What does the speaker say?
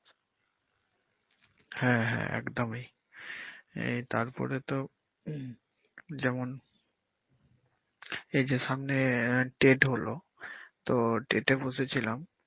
হ্যা হ্যা একদম এই তারপরে তো যেমন এই যে সামনে আহ date হলো তো date এ বসেছিলাম।